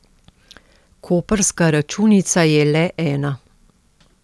Koprska računica je le ena.